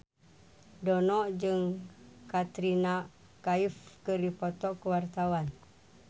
Dono jeung Katrina Kaif keur dipoto ku wartawan